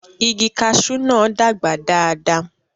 igi kasú náà dàgbà dáadáa